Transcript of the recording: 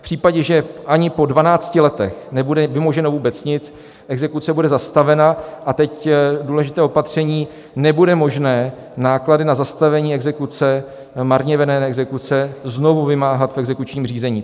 V případě, že ani po 12 letech nebude vymoženo vůbec nic, exekuce bude zastavena, a teď důležité opatření: nebude možné náklady na zastavení exekuce, marně vedené exekuce, znovu vymáhat v exekučním řízení.